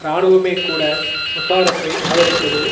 இராணுவமே கூட முஷாரஃப்பை ஆதரிப்பது